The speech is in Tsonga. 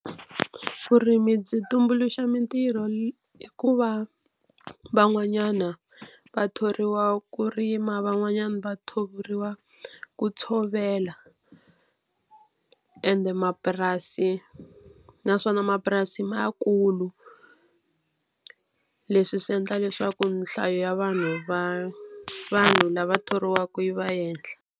Vurimi byi tumbuluxa mitirho ku va van'wanyana va thoriwa ku rima van'wanyana va thoriwa ku tshovela ende mapurasi naswona mapurasi ma ya kulu leswi swi endla leswaku nhlayo ya vanhu va vanhu lava thoriwaka yi va ehenhla.